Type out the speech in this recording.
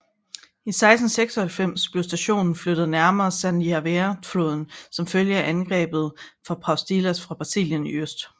I 1696 blev stationen flyttet nærmere San Javier floden som følge af angrebet fra Paulistas fra Brasilien i øst